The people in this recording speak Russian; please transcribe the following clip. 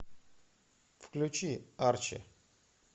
включи арчи